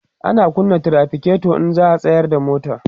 ana kunna trafiketo in za'a tsayar da mota